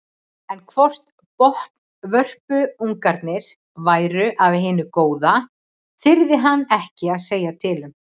En hvort botnvörpungarnir væru af hinu góða þyrði hann ekki að segja til um.